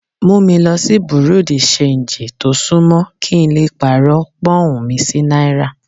Mú mi lo sí Bùrú dì ṣanjì tó sún mọ́, kí n lè lọ pàrọ̀ Pọ́ǹhun mi sí náírà.